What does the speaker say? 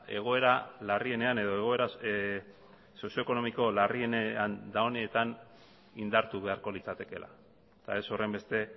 egoera larrienean edo egoera sozioekonomiko larrienean dagoen honetan indartu beharko litzatekeela eta ez horrenbeste